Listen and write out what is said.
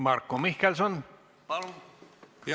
Marko Mihkelson, palun!